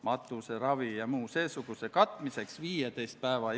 Välismissioonidel osalemine on üks olulisemaid välis- ja kaitsepoliitika vahendeid.